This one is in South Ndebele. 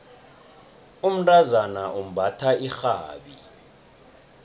umntazana umbatha irhabi